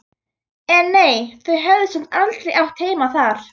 En nei, þau höfðu samt aldrei átt heima þar.